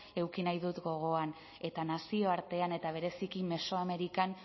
eduki nahi ditut gogoan eta nazioartean eta bereziki mesoamerikan